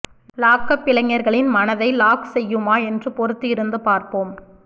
lock-up இளைஞர்களின் மனதை lock செய்யுமா என்று பொறுத்து இருந்து பார்ப்போம்